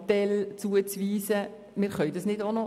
Löffel-Wenger wird nun sagen das stimme nicht.